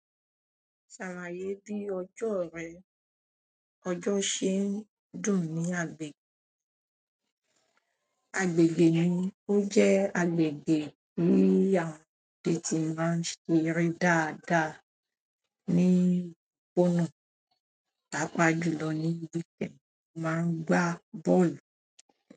Ṣàlàyé bí ọjọ́ rẹ, ọjọ́ ṣe ń dùn ní agbègbè mi, ó jẹ́ agbègbè tí àwọn ọmọdé ti máa ń ṣeré dáadáa ní pọ́ọ̀nù, pàápàá jùlọ níbí tí wọ́n máa ń gbá bọ́ọ̀lù.